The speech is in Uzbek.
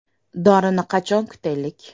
Dorini qachon kutaylik?